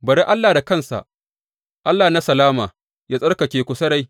Bari Allah da kansa, Allah na salama, yă tsarkake ku sarai.